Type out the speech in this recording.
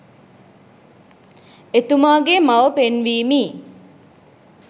එතුමාගේ මව පෙන්වීමි.